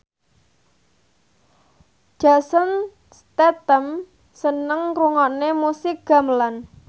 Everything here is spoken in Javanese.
Jason Statham seneng ngrungokne musik gamelan